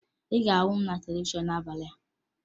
Ị ga-ahụ m na televishọn n'abalị a